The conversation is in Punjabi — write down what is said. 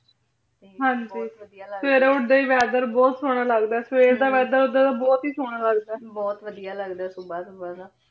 ਹਾਂਜੀ ਫੇਰ ਓਧਰ ਈ weather ਬੋਹਤ ਸੋਹਨਾ ਲਗਦਾ ਆਯ ਫੇਰ ਤਾਂ ਬੋਹਤ ਸੋਹਨਾ ਲਗਦਾ ਆਯ ਬੋਹਤ ਵਾਦਿਯ ਲਗਦਾ ਆਯ ਸੁਭਾ ਤਾਂ